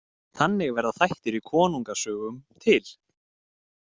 Þannig verða þættir í konungasögum til.